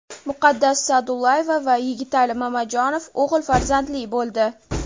Muqaddas Sa’dullayeva va Yigitali Mamajonov o‘g‘il farzandli bo‘ldi.